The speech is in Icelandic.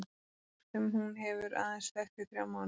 Og með strák sem hún hefur aðeins þekkt í þrjá mánuði.